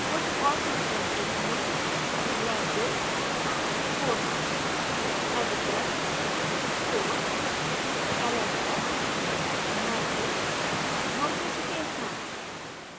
कुछ और preferences हैं